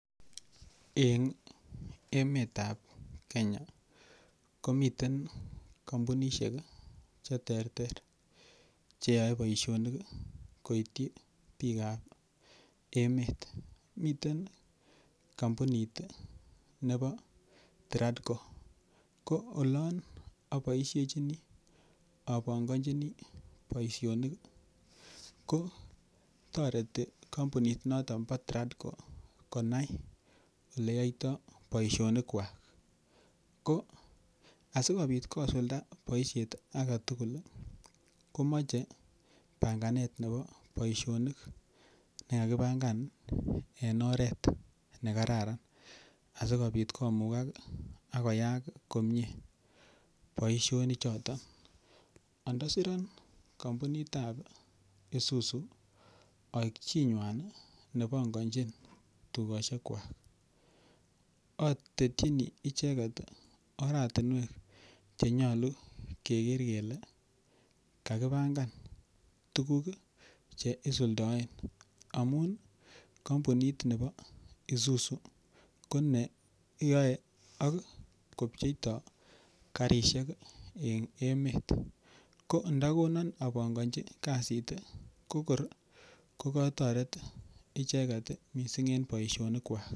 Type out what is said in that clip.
Eng emetab kenya komiten kampunishek cheterter cheyoe boisionik ii koityi biikab emet, miten kampunit nebo Tradco. Koo olon aboisiechini apongonjini boisionik ko toreti kampuninoton bo Tradco konai oleyoito boisionikwak ko asikobit kosulda boisiet agetugul komoche panganet ne bo boisionik nekakipangan en oret nekararan asikobit komukak akoyaak komie boisionichoton ondosiron kampunitan Isuzu aik chinywan nepongonjin tugoshekwak atetchin icheket ii oratinwek chenyolu keker kele kakipangan tuguk che isuldaen amun kampunit nebo Isuzu ko neyoe akopyeetoo karisiek en emet ko ndakonon apongonji kasit kokor ko kotoret icheket ii missing en boisionikwak.